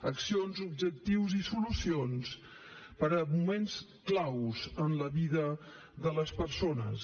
accions objectius i solucions per a moments clau en la vida de les persones